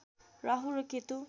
राहु र केतु